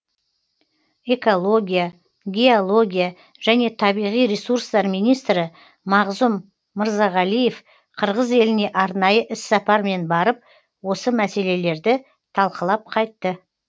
экология геология және табиғи ресурстар министрі мағзұм мырзағалиев қырғыз еліне арнайы іссапармен барып осы мәселелерді талқылап қайтты